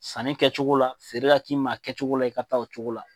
Sanni kɛcogo la feere ka k'i ma a kɛcogo la i ka taa o cogo la.